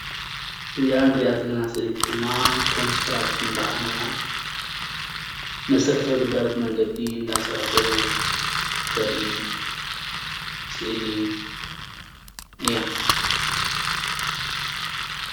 እዛ እንሪአ ዘለና ሰበይቲ ድማ ኮንስትራክሽን በዓል ሞያ መሰረታዊ ግልጋሎት መንገዲ እንዳሰርሑ እተርኢ ስእሊ እያ፡፡